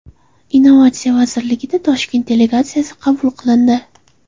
Innovatsiya vazirligida Xitoy delegatsiyasi qabul qilindi.